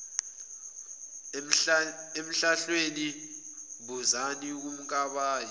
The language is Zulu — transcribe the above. emhlahlweni buzani kumkabayi